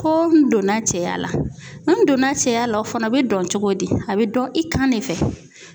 Ko n donna cɛya la. N donna cɛya la ,o fana be dɔn cogo di? A be dɔn i kan de fɛ.